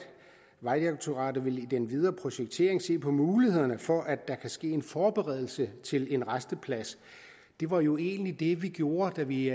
vejdirektoratet i den videre projektering vil se på mulighederne for at der kan ske en forberedelse til en rasteplads det var jo egentlig det vi gjorde da vi